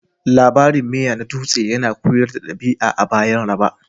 Labarin miya na dutse yana koyar da ɗabi'a a bayan raba